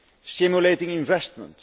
Stimulating investment.